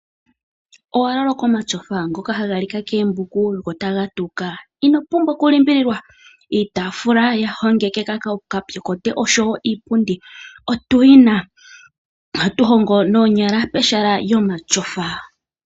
Owaloloka omatyofa ngoka haga lika koombuku gotagatawuka? Inopumbwa okulimbililwa iitaafula yahongekeka kokaapyokote osho wo iipundi otuyina, ohatu hongo noonyala pehala lyomatyofa.